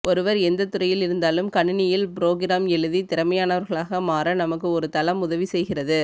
ஒருவர் எந்தத்துறையில் இருந்தாலும் கணினியில் புரோகிராம் எழுதி திறமையானவர்களாக மாற நமக்கு ஒரு தளம் உதவி செய்கிறது